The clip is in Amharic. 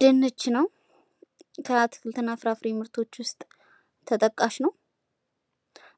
ድንች ነው። ከአትክልት እና ፍራፍሬ ምርቶች ውስጥ ተጠቃሽ ነው።